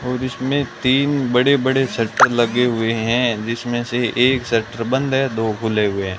और इसमें तीन बड़े बड़े शटर लगे हुए हैं जिसमें से एक शटर बंद है दो खुले हुए हैं।